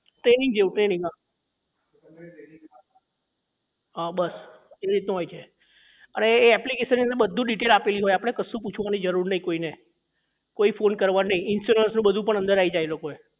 training જેવું training હા આ બસ એ રીતનું હોય છે અરે એ application ની અંદર બધું detail આપેલી હોય આપડે કશું પૂછવાની જરૂર નહીં કોઈ ને કોઈ ફોને કરવાનો નહીં ઇન્સ્યોરન્સ નું બધું પણ આઈ જાય એ લોકો એ